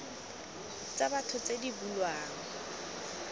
tsa batho tse di bulwang